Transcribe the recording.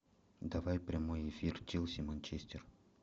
давай прямой эфир челси манчестер